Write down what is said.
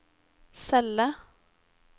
celle